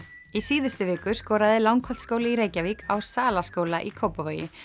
í síðustu viku skoraði Langholtsskóli í Reykjavík á Salaskóla í Kópavogi